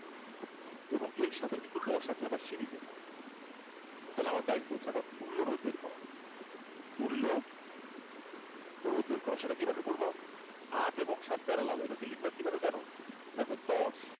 আবার এর সাথে দশ আছে আবার সিরিজে তাহলে আমার দায়িত্ব হচ্ছে তুল্য রোধ বের করা তুল্য রোধ বের করা সেটা কিভাবে করবো আট এবং সাত parallel এটাকে লিখবো কিভাবে জানো দেখও দশ